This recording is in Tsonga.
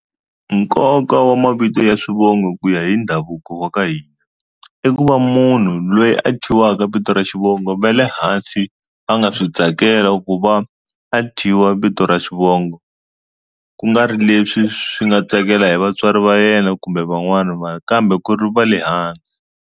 Nkoka wa mavito ya swivongo ku ya hi ndhavuko wa ka hina i ku va munhu lweyi a thyiwaka vito ra xivongo va le hansi a nga swi tsakela ku va a thyiwa vito ra xivongo ku nga ri leswi swi nga tsakela hi vatswari va yena kumbe van'wana vanhu kambe ku ri va le hansi.